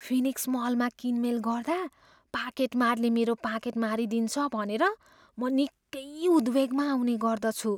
Phoenix मलमा किनमेल गर्दा पाकेट मारले मेरो पाकेट मारिदिन्छ भनेर म निकै उद्वेगमा आउने गर्दछु।